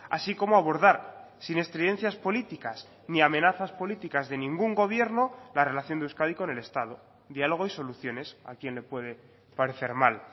así como abordar sin estridencias políticas ni amenazas políticas de ningún gobierno la relación de euskadi con el estado diálogo y soluciones a quién le puede parecer mal